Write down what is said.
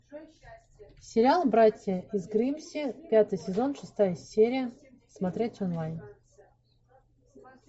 сериал братья из гримсби пятый сезон шестая серия смотреть онлайн